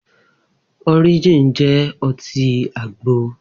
Orijin jẹ́ ọtí àgbo